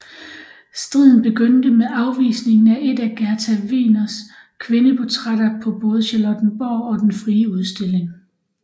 Striden begyndte med afvisningen af et af Gerda Wegeners kvindeportrætter på både Charlottenborg og Den Frie Udstilling